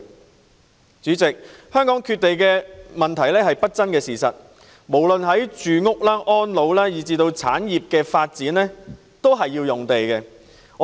代理主席，香港缺地的問題是不爭的事實，無論是市民住屋、安老服務以至產業的發展均需要土地。